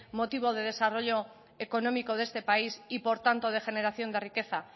motivo de desarrollo económico de este país y por tanto de generación de riqueza